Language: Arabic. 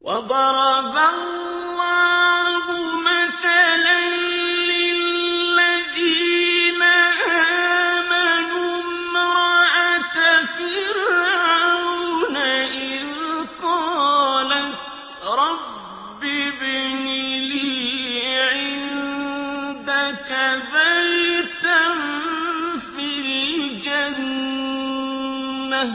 وَضَرَبَ اللَّهُ مَثَلًا لِّلَّذِينَ آمَنُوا امْرَأَتَ فِرْعَوْنَ إِذْ قَالَتْ رَبِّ ابْنِ لِي عِندَكَ بَيْتًا فِي الْجَنَّةِ